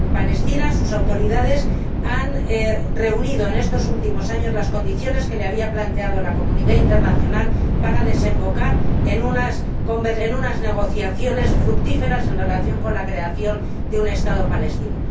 Palestina sus autoridades ha reunido en estos últimos años las condiciones que le había planteado la comunidad internacional para desembocar en unas negociaciones fructíferas en relación con la creación de un Estado palestino.